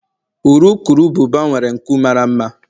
urukurubụba nwere nku mara mma